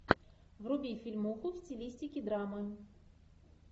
вруби фильмуху в стилистике драма